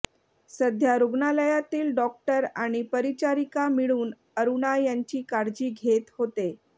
सध्या रुग्णालयातील डॉक्टर आणि परिचारिका मिळून अरुणा यांची काळजी घेत होते